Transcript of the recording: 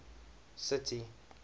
city